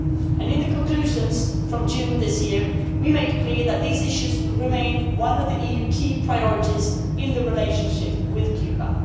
In the conclusions from June this year, we made clear that these issues will remain one of the EU's key priorities in the relationship with Cuba.